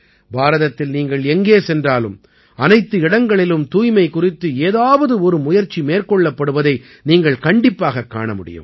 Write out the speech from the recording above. பாரதத்தில் நீங்கள் எங்கே சென்றாலும் அனைத்து இடங்களிலும் தூய்மை குறித்து ஏதாவது ஒரு முயற்சி மேற்கொள்ளப்படுவதை நீங்கள் கண்டிப்பாகக் காண முடியும்